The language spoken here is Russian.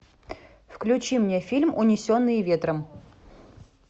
включи мне фильм унесенные ветром